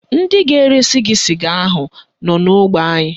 Ndị ga-eresi gị sịga ahụ nọ n'ógbè anyị